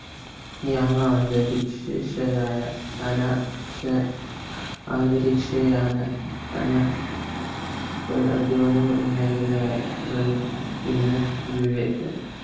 യാമാന്തരീക്ഷ യായ അന്തരീക്ഷയാന